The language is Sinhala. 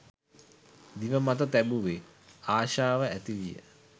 දිව මත තැබුවේ, ආශාව ඇති විය.